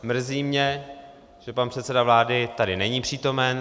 Mrzí mě, že pan předseda vlády tady není přítomen.